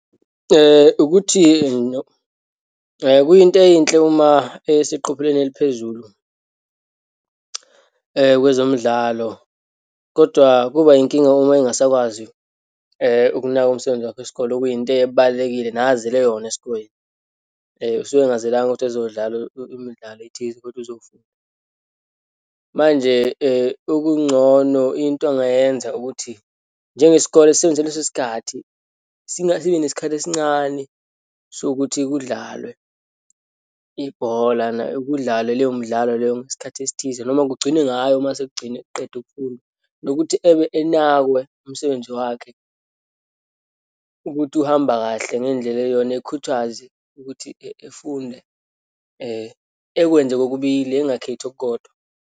Ukuthi no kuyinto eyinhle uma eseqophelweni eliphezulu kwezomidlalo, kodwa kuba yinkinga uma engasakwazi ukunaka umsebenzi wakhe wesikole, okuyinto ebalulekile, nazele yona esikoleni. Usuke angazelanga ukuthi uzodlala imdlalo ethize kodwa uzofunda. Manje, okungcono into angayenza ukuthi, njengesikole sisebenzise lesi sikhathi sibe nesikhathi esincane sokuthi kudlalwe ibhola, kudlalwe leyo mdlalo leyo, ngesikhathi esithize, noma kugcinwe ngayo uma sekugcine kuqedwa ukufundwa. Nokuthi ebe enakwe umsebenzi wakhe, ukuthi uhamba kahle ngendlela eyiyona, ekhuthazwe ukuthi efunde, ekwenze kokubili, engakhethi okukodwa.